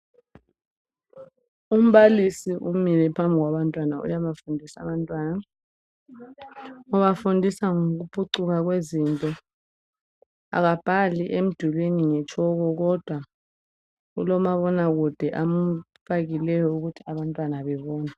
Umbalisi umile phambi kwabantwana, uyabafundisa. Ubafundisa ngokuphucuka kwezinto. Akabhali emdulini ngetshoko kodwa ulomabonakude amfakileyo ukuthi abantwana befunde.